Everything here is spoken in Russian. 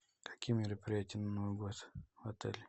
какие мероприятия на новый год в отеле